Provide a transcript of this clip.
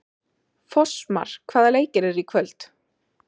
Fossmar, hvaða leikir eru í kvöld?